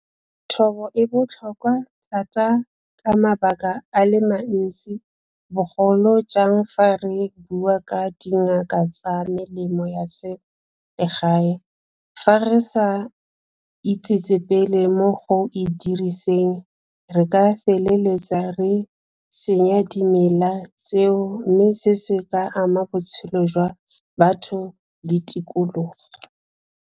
Thobo e botlhokwa thata ka mabaka a le mantsi, bogolo jang fa re bua ka dingaka tsa melemo ya selegae. Fa re sa itsetsepele mo go e diriseng re ka feleletsa re senya dimela tseo, mme se se ka ama botshelo jwa batho le tikologo.